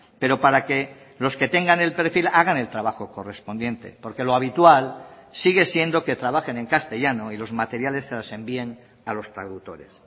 pero para que los que tengan el perfil hagan el trabajo correspondiente porque lo habitual sigue siendo que trabajen en castellano y los materiales se los envíen a los traductores